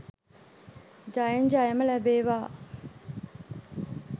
ජයෙන් ජයම ලැබේවා